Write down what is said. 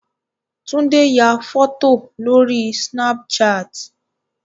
Tunde ya fọ́tò lórí Snapchat.